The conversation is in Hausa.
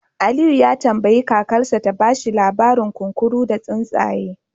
Aliyu ya tambayi kakarsa ta ba shi labarin kunkuru da tsuntsaye